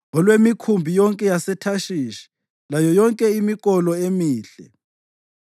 olwemikhumbi yonke yaseThashishi layo yonke imikolo emihle.